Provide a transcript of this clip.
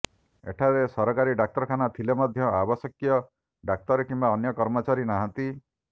ଏଠାରେ ସରକାରୀ ଡାକ୍ତରଖାନା ଥିଲେ ମଧ୍ୟ ଆବଶ୍ୟକୀୟ ଡାକ୍ତର କିମ୍ବା ଅନ୍ୟ କର୍ମଚାରୀ ନାହାନ୍ତି